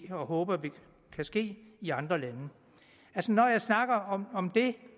håber kan ske i andre lande når jeg snakker om om det